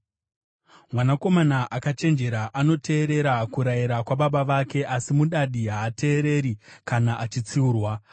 Mwanakomana akachenjera anoteerera kurayira kwababa vake, asi mudadi haateereri kana achitsiurwa.